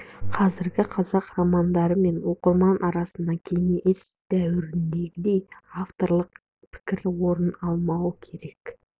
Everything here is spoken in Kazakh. қазіргі қазақ романдары мен оқырман арасында кеңес дәуіріндегідей авторитарлық пікір орын алмауы керек